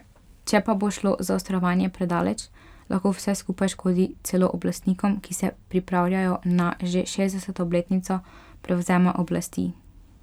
Če pa bo šlo zaostrovanje predaleč, lahko vse skupaj škodi celo oblastnikom, ki se pripravljajo na že šestdeseto obletnico prevzema oblasti.